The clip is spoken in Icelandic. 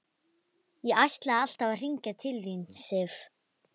Ég ætlaði alltaf að hringja til þín, Sif.